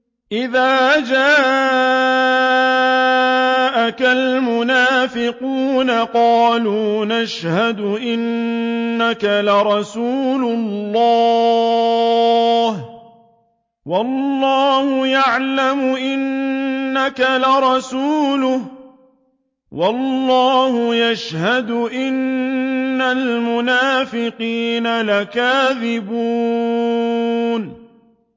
إِذَا جَاءَكَ الْمُنَافِقُونَ قَالُوا نَشْهَدُ إِنَّكَ لَرَسُولُ اللَّهِ ۗ وَاللَّهُ يَعْلَمُ إِنَّكَ لَرَسُولُهُ وَاللَّهُ يَشْهَدُ إِنَّ الْمُنَافِقِينَ لَكَاذِبُونَ